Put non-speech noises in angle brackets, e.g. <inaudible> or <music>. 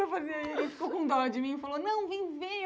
<unintelligible> Ele ficou com dó de mim e falou... Não, vem ver!